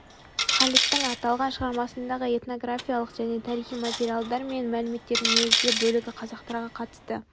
халидтің аталған шығармасындағы этнографиялық және тарихи материалдар мен мәліметтердің негізгі бөлігі қазақтарға қатысты